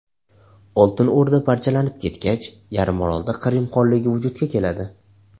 Oltin O‘rda parchalanib ketgach, yarimorolda Qrim xonligi vujudga keladi.